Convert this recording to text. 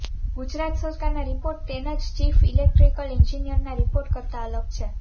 ગુજરાત સરકારના રિપોર્ટ તેના જ ચીફ ઇલેક્ટ્રિકલ એન્જિનિયરના રિપોર્ટ કરતાં અલગ છે